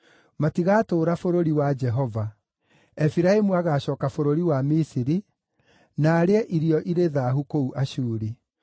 Matigaatũũra bũrũri wa Jehova; Efiraimu agaacooka bũrũri wa Misiri, na arĩe irio irĩ thaahu kũu Ashuri.